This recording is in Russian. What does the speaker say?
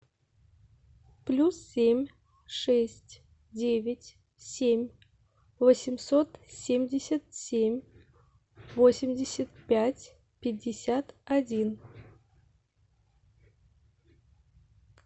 плюс семь шесть девять семь восемьсот семьдесят семь восемьдесят пять пятьдесят один